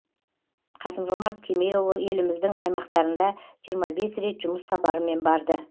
қасым жомарт кемелұлы еліміздің аймақтарында жиырма бес рет жұмыс сапарымен барды